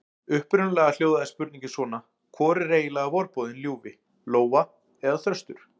Upprunalega hljóðaði spurningin svona: Hvor er eiginlega vorboðinn ljúfi: Lóa eða þröstur?